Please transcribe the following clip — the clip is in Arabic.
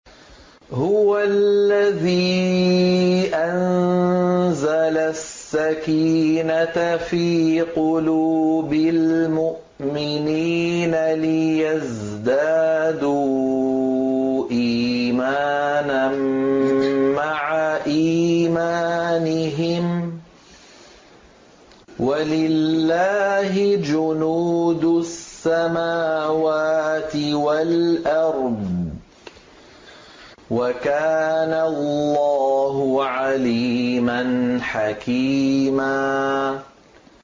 هُوَ الَّذِي أَنزَلَ السَّكِينَةَ فِي قُلُوبِ الْمُؤْمِنِينَ لِيَزْدَادُوا إِيمَانًا مَّعَ إِيمَانِهِمْ ۗ وَلِلَّهِ جُنُودُ السَّمَاوَاتِ وَالْأَرْضِ ۚ وَكَانَ اللَّهُ عَلِيمًا حَكِيمًا